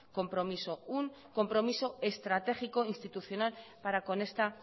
compromiso un compromiso estratégico e institucional para con esta